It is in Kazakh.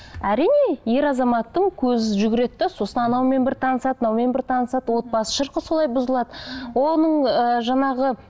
әрине ер азаматтың көзі жүгіреді де сосын анаумен бір танысады мынаумен бір танысады отбасы шырқы солай бұзылады оның ыыы жаңағы